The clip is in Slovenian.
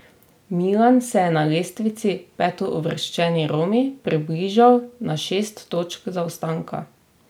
Milan se je na lestvici petouvrščeni Romi približal na šest točk zaostanka.